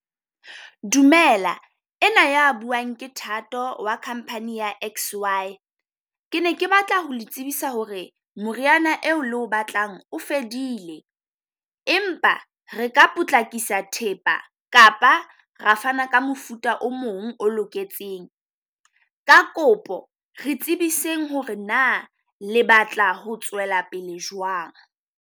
Dumela ena ya buang ke Thato wa company ya X_Y. Ke ne ke batla ho le tsebisa ho re moriana eo le o batlang o fedile, empa re ka potlakisa thepa kapa re fana ka mofuta o mong o loketseng. Ka kopo re tsebiseng ho re na le batla ho tswela pele jwang.